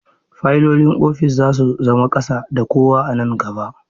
Fayilolin ofis za su zama ƙasa da kowa a nan gaba.